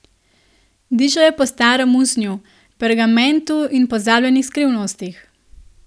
Dišal je po starem usnju, pergamentu in pozabljenih skrivnostih.